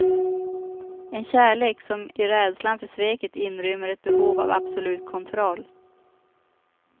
En kärlek som i rädslan för sveket inrymmer ett behov av absolut kontroll.